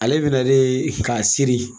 A be minɛ de ka seri.